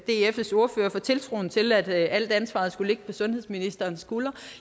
dfs ordfører for tiltroen til at alt ansvaret skulle ligge på sundhedsministerens skuldre